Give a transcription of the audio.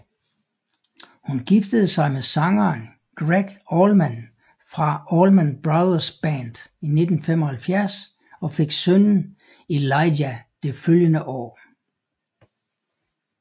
Hun giftede sig med sangeren Gregg Allman fra Allman Brothers Band i 1975 og fik sønnen Elijah det følgende år